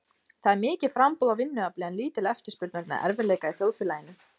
Það er mikið framboð á vinnuafli en lítil eftirspurn vegna erfiðleika í þjóðfélaginu.